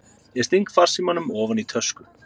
Ég sting farsímanum ofan í tösku.